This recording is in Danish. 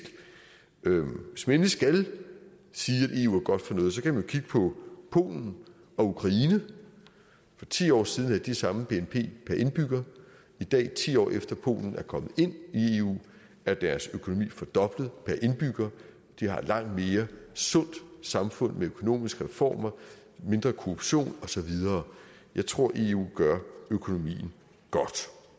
hvis man endelig skal sige at eu er godt for noget kan man kigge på polen og ukraine for ti år siden havde de samme bnp per indbygger i dag ti år efter at polen er kommet ind i eu er deres økonomi fordoblet per indbygger de har et langt sundere samfund med økonomiske reformer mindre korruption og så videre jeg tror at eu gør økonomien godt